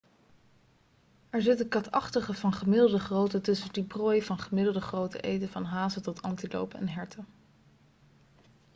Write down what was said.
er zitten katachtigen van gemiddelde grootte tussen die prooi van gemiddelde grootte eten van hazen tot antilopen en herten